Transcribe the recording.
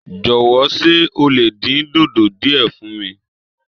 Jọ̀wọ́, ṣé o lè dín dòdò díẹ̀ fún mi?